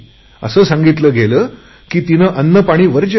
असे सांगितले गेले की तिने अन्नपाणी वर्ज्य केले